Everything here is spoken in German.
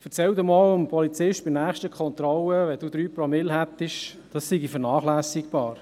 Erzählen Sie dem Polizisten bei der nächsten Kontrolle, falls Sie 3 Promille Blutalkohol aufweisen, das sei vernachlässigbar.